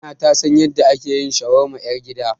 Amina ta san yadda ake yin shawarma ƴar gida.